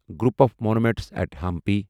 group of monuments إٹھ ہمپی